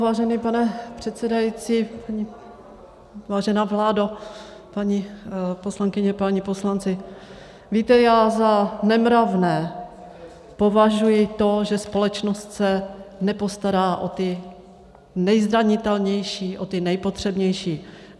Vážený pane předsedající, vážená vládo, paní poslankyně, páni poslanci, víte, já za nemravné považuji to, že společnost se nepostará o ty nejzranitelnější, o ty nejpotřebnější.